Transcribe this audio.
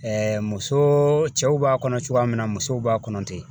muso cɛw b'a kɔnɔ cogoya min na musow b'a kɔnɔ ten